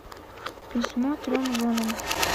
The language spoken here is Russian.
письмо трем женам